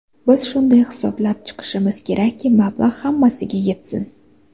Biz shunday hisoblab chiqishimiz kerakki, mablag‘ hammasiga yetsin.